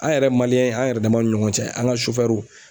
An yɛrɛ an yɛrɛ dama ni ɲɔgɔn cɛ an ka